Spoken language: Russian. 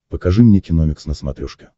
покажи мне киномикс на смотрешке